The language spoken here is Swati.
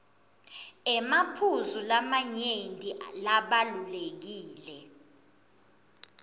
emaphuzu lamanyenti labalulekile